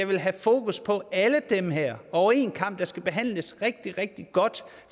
vil have fokus på alle dem her over én kam de skal behandles rigtig rigtig godt